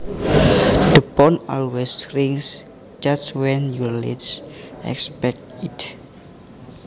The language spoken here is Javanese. The phone always rings just when you least expect it